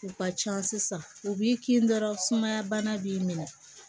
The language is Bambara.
U ka can sisan u b'i kin dɔrɔn sumaya bana b'i minɛ